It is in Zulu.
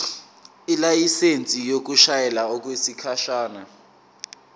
ilayisensi yokushayela okwesikhashana